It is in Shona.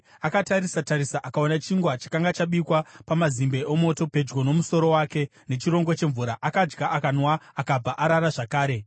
Akatarisa-tarisa, akaona chingwa chakanga chabikwa pamazimbe omoto pedyo nomusoro wake, nechirongo chemvura. Akadya, akanwa, akabva arara zvakare.